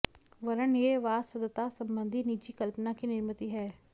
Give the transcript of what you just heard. वरन् यह वासवदत्ता संबंधी निजी कल्पना की निर्मिति है